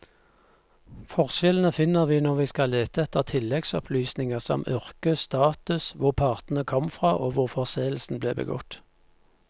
Forskjellene finner vi når vi skal lete etter tilleggsopplysninger som yrke, status, hvor partene kom fra og hvor forseelsen ble begått.